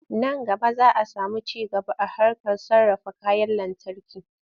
Nan gaba za a samu ci gaba a harkar sarrafa kayan lantarki.